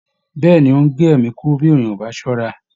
Bẹ́ẹ̀ ni, ó ń gé ẹ̀mí kúrú bí ènìyàn kò bà á ṣọ́ra